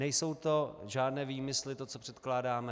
Nejsou to žádné výmysly, to, co předkládáme.